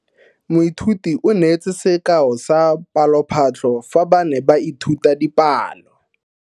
Moithuti o neetse sekao sa palophatlo fa ba ne ba ithuta dipalo.